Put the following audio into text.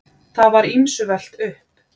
Það var ýmsu velt upp.